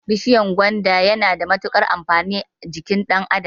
Bishiyar gwanda yana da mutukar amfani a jikin ɗan adam